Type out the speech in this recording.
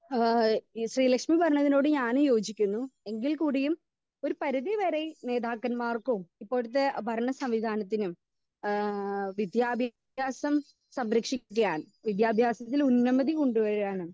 speaker 2 ഏഹ് ഇ ശ്രീലക്ഷ്മി പറഞ്ഞതിലോട് ഞാനും യോജിക്കുന്നു എങ്കിൽ കൂടിയും ഒരു പരിധി വരെ നേതാക്കന്മാർക്കും ഇപ്പോഴത്തെ ഭരണ സംവിധാനത്തിനും ഏഹ് വിദ്യാ ഭ്യാസം സംരക്ഷിക്കാൻ വിദ്യാഭ്യാസത്തിൽ ഉന്നമതി കൊണ്ട് വരാനും